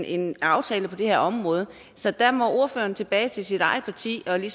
en aftale på det her område så der må ordføreren tilbage til sit eget parti parti